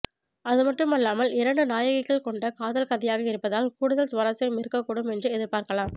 அதுமட்டுமல்லாமல் இரண்டு நாயகிகள் கொண்ட காதல் கதையாக இருப்பதால் கூடுதல் சுவாரஸ்யம் இருக்கக்கூடும் என்று எதிர்பார்க்கலாம்